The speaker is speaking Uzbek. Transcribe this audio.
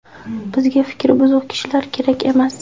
Bizga fikri buzuq kishilar kerak emas.